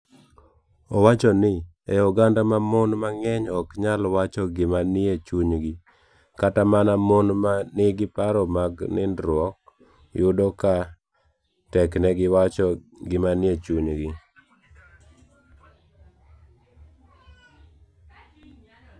Owacho ni, e oganda ma mon mang'eny ok nyal wacho gima nie chunygi, kata mana mon ma nigi paro mag nindruok, yudo ka teknegi wacho gima nie chunygi.